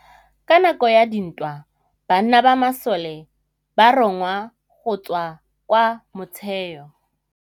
Ka nakô ya dintwa banna ba masole ba rongwa go tswa kwa mothêô.